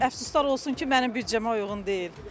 Əfsuslar olsun ki, mənim büdcəmə uyğun deyil.